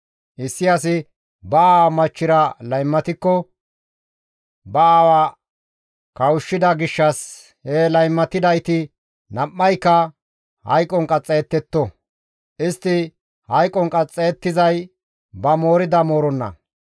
Issi asi ba aawa machchira laymatikko ba aawa kawushshida gishshas he laymatidayti nam7ayka hayqon qaxxayettetto; istti hayqon qaxxayettizay ba moorida mooronna.